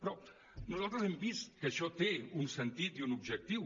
però nosaltres hem vist que això té un sentit i un objectiu